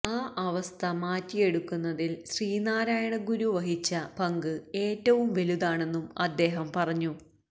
ആ അവസ്ഥ മാറ്റിയെടുക്കുന്നതിൽ ശ്രീനാരായണഗുരു വഹിച്ച പങ്ക് ഏറ്റവും വലുതാണെന്നും അദ്ദേഹം പറഞ്ഞു